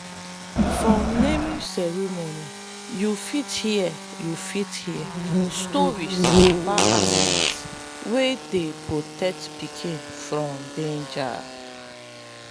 for naming ceremony you fit hear you fit hear story about animals wey dey protect pikin from danger.